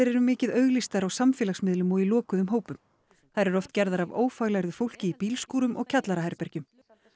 eru mikið auglýstar á samfélagsmiðlum og í lokuðum hópum þær eru oft gerðar af ófaglærðu fólki í bílskúrum og kjallaraherbergjum